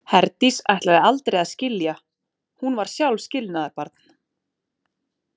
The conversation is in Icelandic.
Herdís ætlaði aldrei að skilja, hún var sjálf skilnaðarbarn.